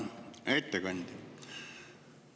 Hea ettekandja!